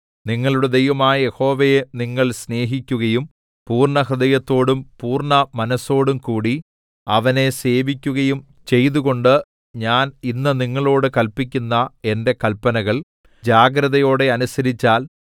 നിങ്ങളുടെ ദൈവമായ യഹോവയെ നിങ്ങൾ സ്നേഹിക്കുകയും പൂർണ്ണഹൃദയത്തോടും പൂർണ്ണ മനസ്സോടുംകൂടി അവനെ സേവിക്കുകയും ചെയ്തുകൊണ്ട് ഞാൻ ഇന്ന് നിങ്ങളോട് കല്പിക്കുന്ന എന്റെ കല്പനകൾ ജാഗ്രതയോടെ അനുസരിച്ചാൽ